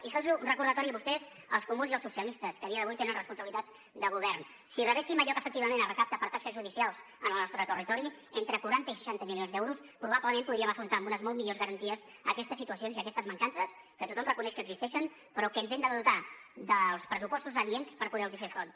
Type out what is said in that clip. i fer los un recordatori a vostès els comuns i els socialistes que a dia d’avui tenen responsabilitats de govern si rebéssim allò que efectivament es recapta per taxes judicials en el nostre territori entre quaranta i seixanta milions d’euros probablement podríem afrontar amb unes molt millors garanties aquestes situacions i aquestes mancances que tothom reconeix que existeixen però que ens hem de dotar dels pressupostos adients per poder los hi fer front